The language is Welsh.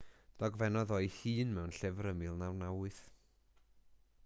dogfennodd e ei hun mewn llyfr ym 1998